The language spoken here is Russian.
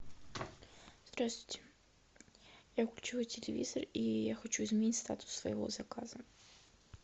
здравствуйте я включила телевизор и я хочу изменить статус своего заказа